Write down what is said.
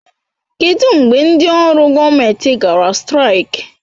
Kedụ mgbe ndị ọrụ gọọmentị gara straik?